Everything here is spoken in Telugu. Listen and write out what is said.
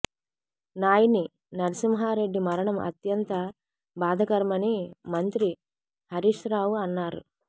నాయిని నర్సింహారెడ్డి మరణం అంత్యంత బాధకరమని మంత్రి హరీష్ రావు అన్నారు